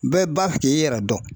Bɛɛ ba k'i yɛrɛ dɔn